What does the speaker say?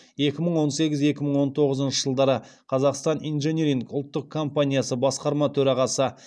екі мың он сегіз екі мың он тоғызыншы жылдары қазақстан инжиниринг ұлттық компаниясы басқарма төрағасы